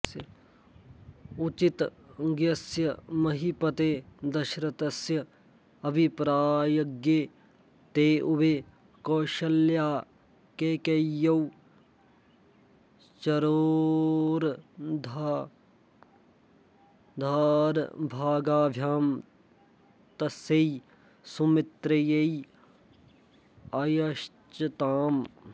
उचितज्ञस्य महीपतेः दशरथस्य अभिप्रायज्ञे ते उभे कौसल्याकैकय्यौ चरोरर्धार्धभागाभ्यां तस्यै सुमित्रियै अयच्छताम्